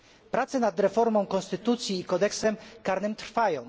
Prace nad reformą konstytucji i kodeksem karnym trwają.